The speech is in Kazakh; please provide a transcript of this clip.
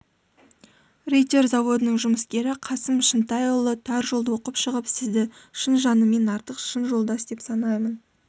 риддер заводының жұмыскері қасым шынтайұлы тар жолды оқып шығып сізді шын жаныммен артық шын жолдас деп санаймын